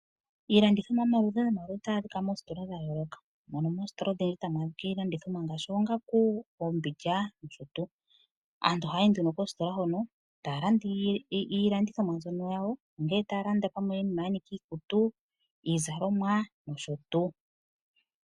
Iilandithomwa yomaludhi otayi adhika moositola dha yooloka mono moositola odhindji tamu adhika iilandithomwa ngaashi oongandu, oombindja nosho tuu. Aantu ohaya yi nduno kositola hono taya landa iilandithomwa mbyono yawo ngele pamwe taya landa iinima ya nika iikutu, iizalomwa nosho tuu.